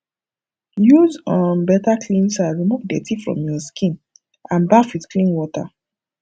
use um better cleanser remove dirty from your skin and baff with clean water